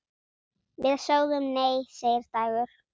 Við sögðum nei, segir Dagur.